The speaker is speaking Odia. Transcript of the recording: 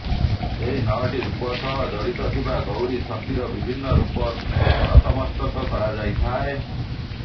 ଏହି ନଅଟି ରୂପ ସହ ଜଡ଼ିତ ଥିବା ଗୌରୀ ଶକ୍ତିର ବିଭିନ୍ନ ରୂପର ନତମସ୍ତକ କରାଯାଇଥାଏ